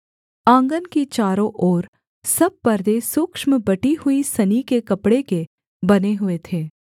आँगन की चारों ओर सब पर्दे सूक्ष्म बटी हुई सनी के कपड़े के बने हुए थे